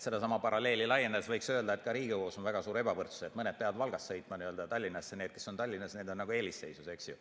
Sedasama paralleeli laiendades võiks öelda, et ka Riigikogus on väga suur ebavõrdsus, mõned peavad Valgast sõitma Tallinnasse, ja need, kes on Tallinnas, on nagu eelisseisus, eks ju.